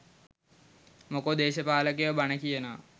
මොකෝ දේශපාලකයෝ බණ කියනවා